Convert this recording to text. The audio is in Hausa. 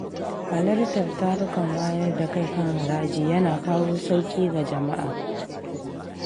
Halartar tarukan wayar da kai kan haraji yana kawo sauƙi ga jama’a.